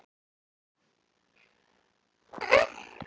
Það fer um mig einkennilegur straumur.